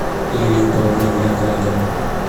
лилию павловну виноградову